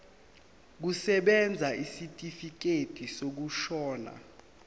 kusebenza isitifikedi sokushona